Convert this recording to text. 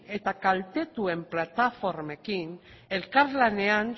eta kaltetuen plataformekin elkarlanean